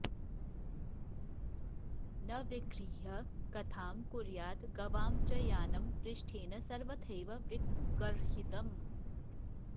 न विगृह्य कथां कुर्याद् गवां च यानं पृष्ठेन सर्वथैव विगर्हितम्